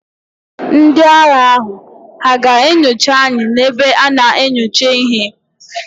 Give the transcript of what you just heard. Ndị agha ahụ hà ga-enyocha anyị n'ebe a na-enyocha ihe?